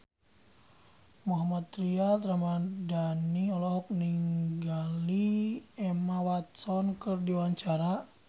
Mohammad Tria Ramadhani olohok ningali Emma Watson keur diwawancara